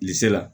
Bilisi la